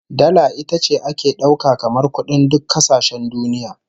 Dala ita ce ake dauka kamar kudin duk kasashen duniya